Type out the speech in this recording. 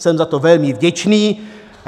Jsem za to velmi vděčný.